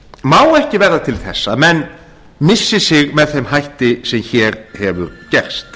má ekki verða til þess að menn missi sig með þeim hætti sem hér hefur gerst